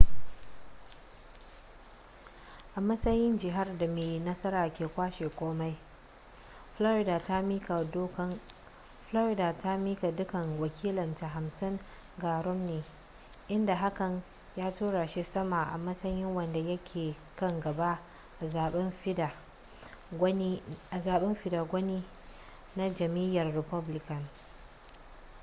a matsayin jihar da mai nasara ke kwashe komai florida ta miƙa dukkan wakilanta hamsin ga romney inda hakan ya tura shi sama a matsayin wanda yake kan gaba a zaben fidda gwani na jam'iyyar republican